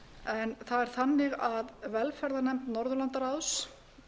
en það er þannig að velferðarnefnd norðurlandaráðs